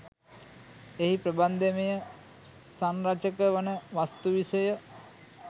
එහි ප්‍රබන්ධමය සංරචක වන වස්තු විෂය